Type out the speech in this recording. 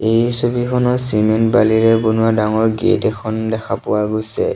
এই ছবিখনত চিমেণ্ট বালিৰে বনোৱা ডাঙৰ গেট এখন দেখা পোৱা গৈছে।